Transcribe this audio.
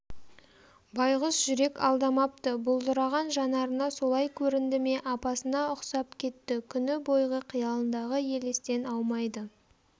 байқұс жүрек алдамапты бұлдыраған жанарына солай көрінді ме апасына ұқсап кетті күні бойғы қиялындағы елестен аумайды